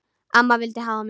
Amma vildi hafa mig.